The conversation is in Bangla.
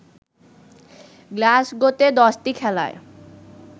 গ্লাসগোতে দশটি খেলায়